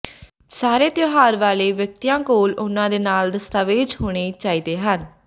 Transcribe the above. ਸਾਰੇ ਤਿਉਹਾਰ ਵਾਲੇ ਵਿਅਕਤੀਆਂ ਕੋਲ ਉਨ੍ਹਾਂ ਦੇ ਨਾਲ ਦਸਤਾਵੇਜ਼ ਹੋਣੇ ਚਾਹੀਦੇ ਹਨ